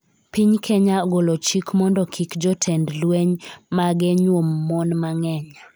Piny Kenya ogolo chik mondo kik jotend lweny mage nyuom mon mang'eny